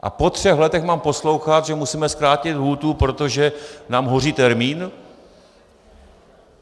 A po třech letech mám poslouchat, že musíme zkrátit lhůtu, protože nám hoří termín?